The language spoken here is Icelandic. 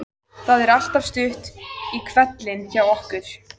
Það er alltaf stutt í hvellinn hjá okkur.